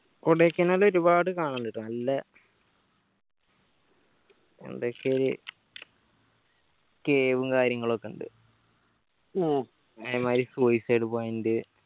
കൊടയ്ക്കനാല് ഒരുപാട് കാണാനിണ്ടിട്ടൊ നല്ലെ എന്തക്കെയൊരു cave ഉം കാര്യങ്ങളൊക്കെ ഇണ്ട് ഏർ അതേമാരി suicide point